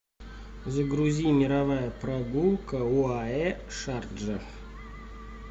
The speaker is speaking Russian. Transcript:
загрузи мировая прогулка оаэ шарджа